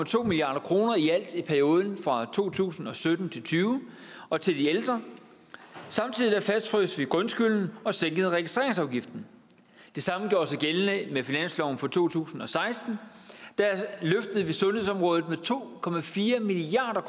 to milliard kroner i alt i perioden fra to tusind og sytten til tyve og til de ældre samtidig fastfrøs vi grundskylden og sænkede registreringsafgiften det samme gjorde sig gældende med finansloven for to tusind og seksten der løftede vi sundhedsområdet med to milliard